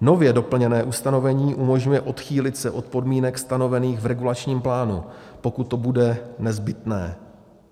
Nově doplněné ustanovení umožňuje odchýlit se od podmínek stanovených v regulačním plánu, pokud to bude nezbytné